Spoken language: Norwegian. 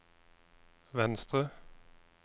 venstre